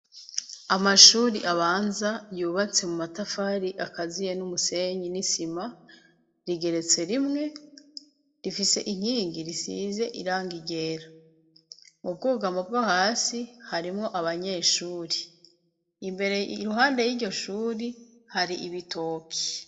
Amashure abanza yubatse mu matafari akaziye n'umusenyi n'isima, rigeretse rimwe, rifise inkingi risize irangi ryera. Mu bwugamo bwo hasi harimwo abanyeshure imbere. Iruhande y'iryo shure hari ibitoki.